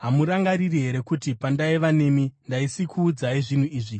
Hamurangariri here kuti pandaiva nemi ndaisikuudzai zvinhu izvi?